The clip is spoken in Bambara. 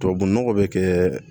Tubabu nɔgɔ bɛ kɛ